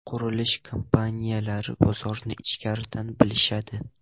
Qurilish kompaniyalari bozorni ichkaridan bilishadi.